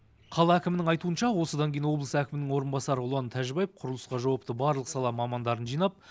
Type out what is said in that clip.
қала әкімінің айтуынша осыдан кейін облыс әкімінің орынбасары ұлан тәжібаев құрылысқа жауапты барлық сала мамандарын жинап